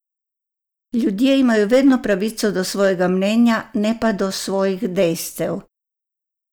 Ljudje imajo vedno pravico do svojega mnenja, ne pa do svojih dejstev.